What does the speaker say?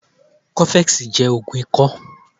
Coffex jẹ́ ògùn ikọ́